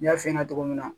N y'a f'i ɲɛna togo min na